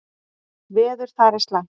Veður þar er slæmt.